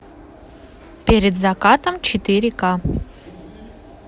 перед закатом четыре к